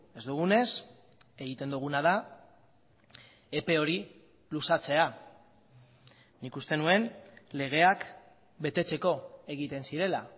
ez dugunez egiten duguna da epe hori luzatzea nik uste nuen legeak betetzeko egiten zirela